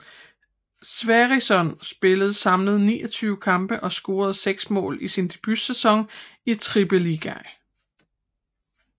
Sverrisson spillede samlet 29 kampe og scorede seks mål i sin debutsæson i Tippeligaen